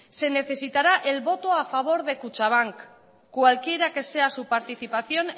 se necesitará el voto a favor de kutxabank cualquiera que sea su participación